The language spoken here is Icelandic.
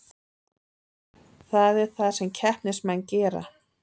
Það er það sem keppnismenn gera